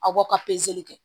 Aw ka pezeli kɛ